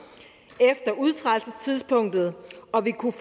efter udtrædelsestidspunktet og vil kunne